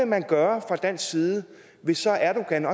man gøre fra dansk side hvis erdogan